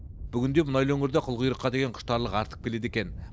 бүгінде мұнайлы өңірде қылқұйрыққа деген құштарлық артып келеді екен